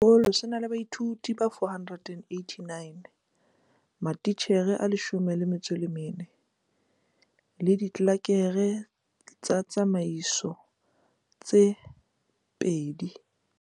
Sekolo se na la baithuti ba 489, matitjhere a14, le ditlelereke tsa tsamaiso tse babedi.